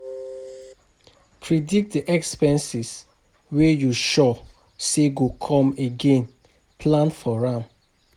Predict di expenses wey you sure sey go come again plan for am